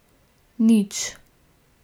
Nič.